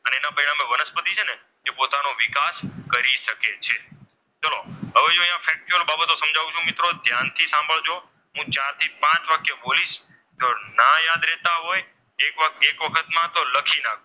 જો આ બાબતો સમજાવું છું મિત્રો ધ્યાનથી સાંભળજો. હું જ્યારથી પાંચ વાક્ય બોલીશ તો ના યાદ રહેતા હોય એક વખતમાં તો લખી રાખજો.